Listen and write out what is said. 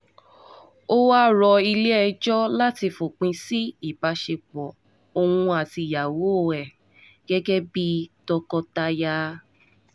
ó wáá rọ ilé-ẹjọ́ láti fòpin sí ìbáṣepọ̀ òun àtìyàwó ẹ̀ gẹ́gẹ́ bíi tọkọ-taya